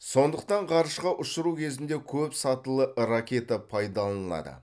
сондықтан ғарышқа ұшыру кезінде көп сатылы ракета пайдалынады